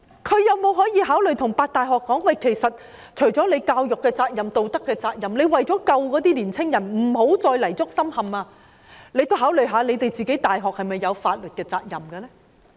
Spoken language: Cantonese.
他有否考慮對8間大學校長說，除了教育責任及道德責任外，為了拯救那些青年人，不要再泥足深陷，大學也應該考慮是否有法律責任呢？